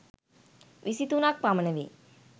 විසි තුනක් පමණ වේ.